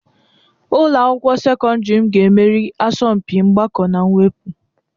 Ụlọ akwụkwọ sekọndrị m ga-emeri asọmpi mgbakọ na mwepụ.